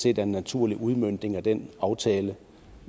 er en naturlig udmøntning af den aftale